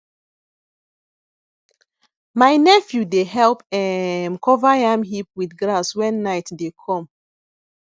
my nephew dey help um cover yam heap with grass wen night dey come